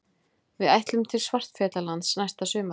Við ætlum til Svartfjallalands næsta sumar.